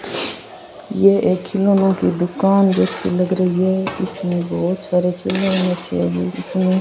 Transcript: ये एक खिलौने की दुकान जैसी लग रही है इसमें बहुत सारे खिलौने से है बीच में।